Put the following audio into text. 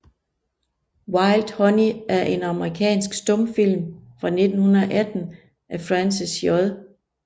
Wild Honey er en amerikansk stumfilm fra 1918 af Francis J